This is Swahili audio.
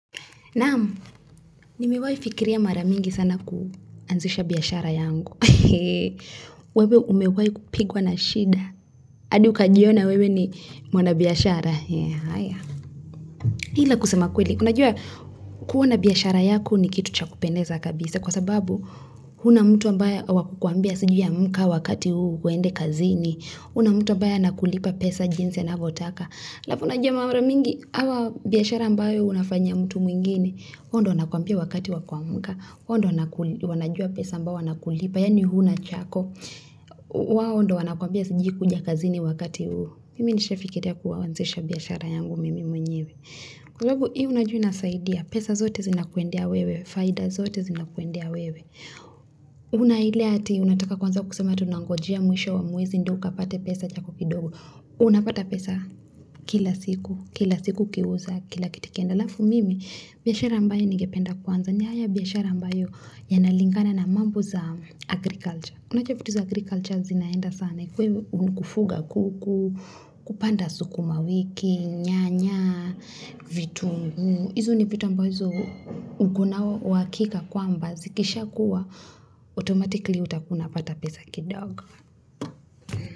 Naam, nimewaifikiria mara mingi sana kuanzisha biashara yangu. Wewe umewahi kupigwa na shida. Adi ukajiona wewe ni mwana biashara? Ila kusema kweli, unajua kuona biashara yako ni kitu cha kupendeza kabisa kwa sababu huna mtu ambaye wa kukuambia sijui amka wakati huu uende kazini, huna mtu ambaye anakulipa pesa jinsi anavyotaka. Halafu unajua mara mingi, hawa biashara ambayo unfanyia mtu mwingine, wao ndo wanakumbia wakati wa kuamka, wao ndo wanajua pesa ambayo wanakulipa, yaani huna chako, wao ndo wanakumbia sijui kuja kazini wakati huu. Mimi nishai fikiria kuanzisha biashara yangu, mimi mwenyewe. Kwa sababu hiii unajua inasaidia, pesa zote zinakuendea wewe, faida zote zina kuendea wewe. Huna ile ati, unataka kuanza kusema, ati unangojea mwisho wa mwezi, ndio ukapate pesa chako kidogo, unapata pesa kila siku, kila siku ukiuza, kila kiti ikienda. Halafu mimi, biashara ambayo ningependa kuanza ni haya biashara ambayo yanalingana na mambo za agriculture. Unajua vitu za agriculture zinaenda sana, kwa hivo kufuga kuku, kupanda sukuma wiki, nyanya, vitunguu. Hizo ni vitu ambazo ukona uhakika kwamba, zikisha kuwa automatically utakuwa unapata pesa kidogo.